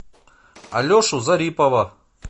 алешу зарипова